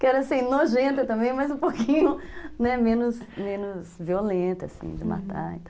Que era assim, nojenta também, mas um pouquinho menos violenta, assim, de matar.